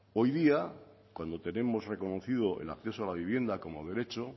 hoy día cuando tenemos reconocido el acceso a la vivienda como derecho